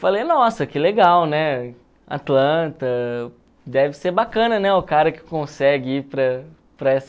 Falei, nossa, que legal, né, Atlanta, deve ser bacana, né, o cara que consegue ir para para essa